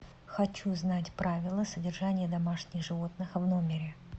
хочу знать правила содержания домашних животных в номере